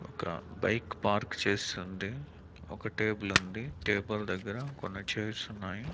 ఒక bike park చేసుంది ఒక టేబుల్ ఉంది టేబుల్ దగ్గర కొన్ని చేర్స్ ఉన్నాయి.